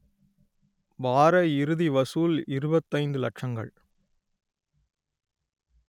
வார இறுதி வசூல் இருபத்தைந்து லட்சங்கள்